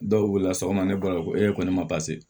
Dɔw wulila sɔgɔma ne bali ko e ko ne ma